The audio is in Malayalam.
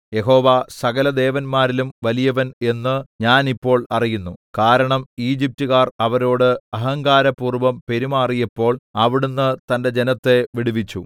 യഹോവ സകലദേവന്മാരിലും വലിയവൻ എന്നു ഞാൻ ഇപ്പോൾ അറിയുന്നു കാരണം ഈജിപ്റ്റുകാർ അവരോടു അഹങ്കാരപൂർവ്വം പെരുമാറിയപ്പോൾ അവിടുന്ന് തന്റെ ജനത്തെ വിടുവിച്ചു